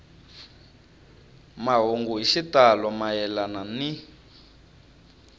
mahungu hi xitalo mayelana ni